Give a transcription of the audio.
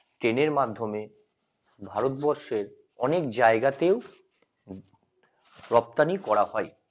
train এর মাধ্যমে ভারতবর্ষে অনেক জায়গাতেও রপ্তানি করা হয়।